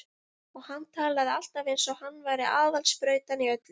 Og hann talaði alltaf eins og hann væri aðal sprautan í öllu.